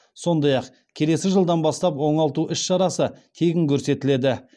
сондай ақ келесі жылдан бастап оңалту іс шарасы тегін көрсетіледі